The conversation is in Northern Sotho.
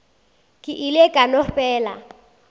ke ile ka no fela